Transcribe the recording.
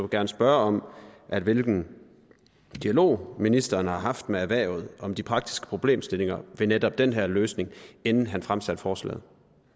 gerne spørge om hvilken dialog ministeren har haft med erhvervet om de praktiske problemstillinger ved netop den her løsning inden han fremsatte forslaget